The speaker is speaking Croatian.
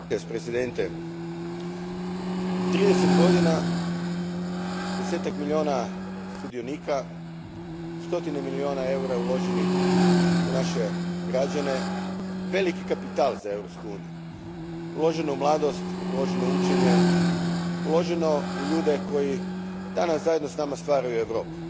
Gospodine predsjedniče, trideset godina, desetak milijuna sudionika, stotine milijuna eura uloženih u naše građane. Veliki kapital za Europsku uniju. Uloženo u mladost, uloženo u učenje, uloženo u ljude koji danas zajedno s nama stvaraju Europu.